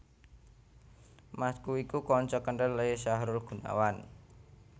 Masku iku kanca kenthel e Syahrul Gunawan